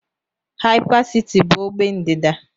Hypercity bụ ogbe ndịda.